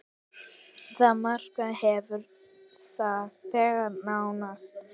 Það markmið hefur þegar náðst.